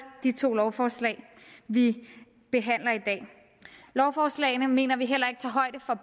de to lovforslag vi behandler i dag lovforslagene mener vi heller ikke tager højde for